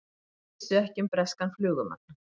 Vissu ekki um breskan flugumann